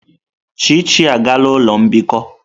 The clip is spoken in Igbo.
Chichi agala ulo mbikọ!